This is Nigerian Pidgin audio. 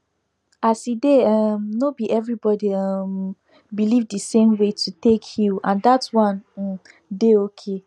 as e dey um no be everybody um believe the same way to take heal and that one um dey okay